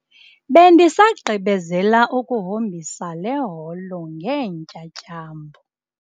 Bendisagqibezela ukuhombisa le holo ngeentyatyambo.